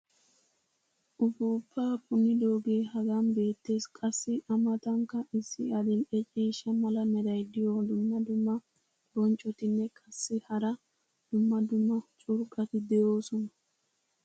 uppuuppaa punnidoogee hagan beetees. qassi a matankka issi adil'e ciishsha mala meray de'iyo dumma dumma bonccotinne qassi hara dumma dumma curqqati de'oosona.